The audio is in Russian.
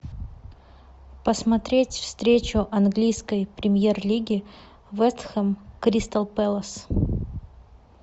посмотреть встречу английской премьер лиги вест хэм кристал пэлас